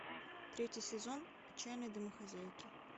третий сезон отчаянные домохозяйки